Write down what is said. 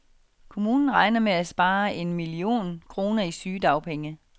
Kommunen regner med at spare en millione kroner i sygedagpenge.